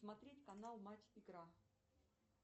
смотреть канал матч игра